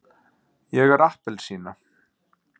ég er appelsína.